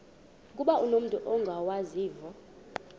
ukuba umut ongawazivo